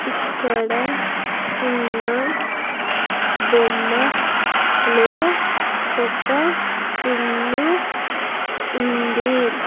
ఇక్కడ ఉన్న బొమ్మ లో ఒక ఇల్లు ఉంది.